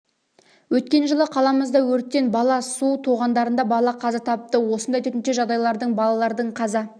өткен жылы қаламызда өрттен бала су тоғандарында бала қаза тапты осындай төтенше жағдайлардың балалардың қаза